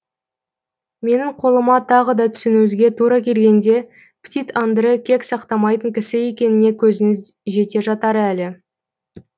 менің қолыма тағы да түсуіңізге тура келгенде птит андре кек сақтамайтын кісі екеніне көзіңіз жете жатар әлі